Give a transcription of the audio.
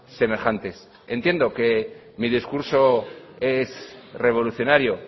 semejantes entiendo que mi discurso es revolucionario